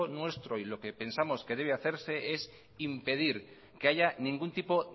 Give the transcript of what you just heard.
nuestro y lo que pensamos que debe hacerse es impedir que haya ningún tipo